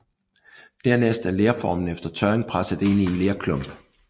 Dernæst er lerformen efter tørring presset ind i en lerklump